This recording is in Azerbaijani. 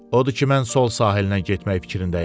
Odur ki, mən sol sahilinə getmək fikrindəyəm.